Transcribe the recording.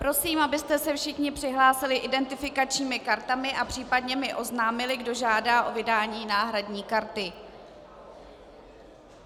Prosím, abyste se všichni přihlásili identifikačními kartami a případně mi oznámili, kdo žádá o vydání náhradní karty.